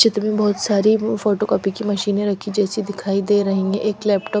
चित्र में बोहोत सारी फोटो कॉपी की मशीने रखी जेसी दिखाई दे रही है एक लैपटॉप --